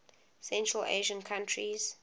central asian countries